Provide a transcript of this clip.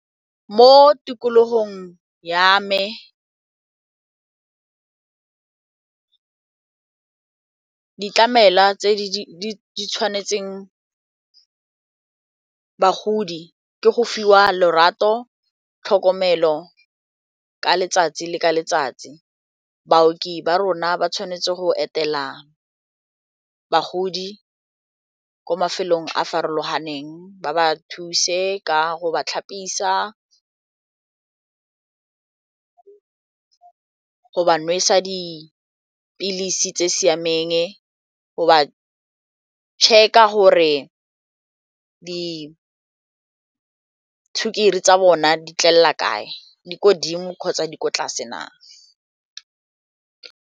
Mo tikologong ya me ditlamela tse di tshwanetseng bagodi ke go fiwa lerato tlhokomelo ka letsatsi le ka letsatsi baoki ba rona ba tshwanetse go etela bagodi ko mafelong a farologaneng ba ba thuse ka go ba tlhapisiwa, go ba nwesa dipilisi tse di siameng go ba check-a gore disukiri tsa bona di tlela kae di kodimo kgotsa di ko tlase na.